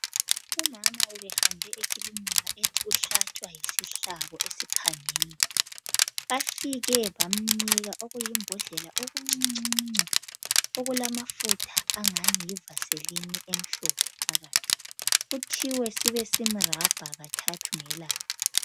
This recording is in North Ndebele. Umama ubehambe ekilinika ethi uhlatshwa yisihlabo esiphangeni bafike bamnika okuyimbhodlela okuncuncuncu okulamafutha angani yivaseline emhlophe phakathi kuthiwe sibe simrabha kathathu ngelanga.